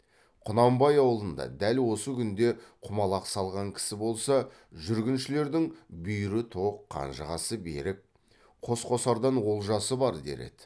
құнанбай аулында дәл осы күнде құмалақ салған кісі болса жүргіншілердің бүйірі тоқ қанжығасы берік қос қосардан олжасы бар дер еді